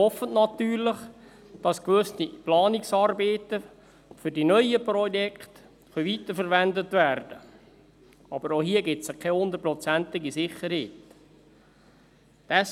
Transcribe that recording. Man hofft natürlich, dass gewisse Planungsarbeiten für die neuen Projekte weiterverwendet werden können, aber auch hier gibt es keine 100-prozentige Sicherheit.